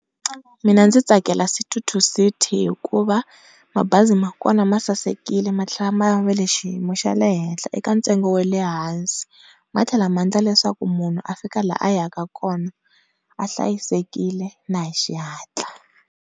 Mina ndzi tsakela City to city hikuva mabazi ma kona masasekile matlhela ma va ka xiyimo xa le henhla eka ntsengo wa le hansi matlhela maendla leswaku munhu afika la a ya ku kona a hlayisekile na hi xihantla.